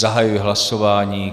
Zahajuji hlasování.